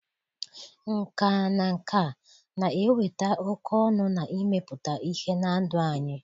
Nkà na nka na-eweta oke ọṅụ na imepụta ihe na ndụ anyị.